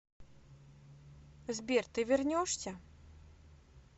сбер ты вернешься